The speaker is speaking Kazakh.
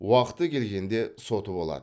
уақыты келгенде соты болады